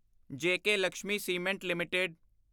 JK Lakshmi cement LTD